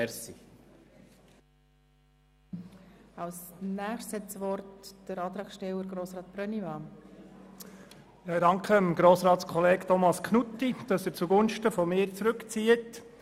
Ich danke dem Kollegen Thomas Knutti, dass er seinen Vorstoss zugunsten von mir zurückzieht.